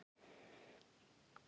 Elsku afi Dalli er látinn.